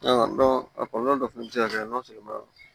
a kɔlɔlɔ dɔ fɛnɛ bɛ se ka kɛ